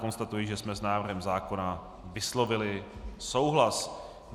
Konstatuji, že jsme s návrhem zákona vyslovili souhlas.